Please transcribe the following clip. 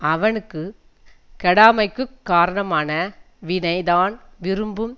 அவனுக்கு கெடாமைக்குக் காரணமான வினை தான் விரும்பும்